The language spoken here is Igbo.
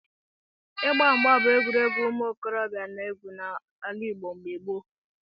Ịgba mgba bụ egwuregwu ụmụ okorobịa na-egwu n'ala Igbo mgbe gboo.